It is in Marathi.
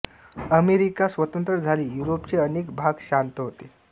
अमेरिका स्वतंत्र झाली युरोपचे अनेक भाग शांत होते